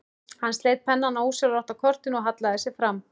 Hann sleit pennann ósjálfrátt af kortinu og hallaði sér fram.